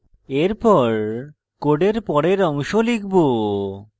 এরপর code পরের অংশ লিখব